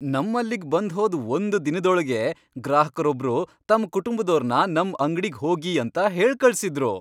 ನಮ್ಮಲ್ಲಿಗ್ ಬಂದ್ಹೋದ್ ಒಂದ್ ದಿನದೊಳ್ಗೇ ಗ್ರಾಹಕ್ರೊಬ್ರು ತಮ್ ಕುಟುಂಬ್ದೋರ್ನ ನಮ್ ಅಂಗ್ಡಿಗ್ ಹೋಗಿ ಅಂತ ಹೇಳ್ಕಳ್ಸಿದ್ರು.